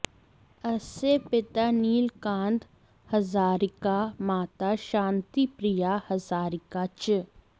अस्य पिता नीलकान्त हज़ारिका माता शान्तिप्रिया हज़ारिका च